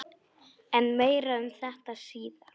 En meira um þetta síðar.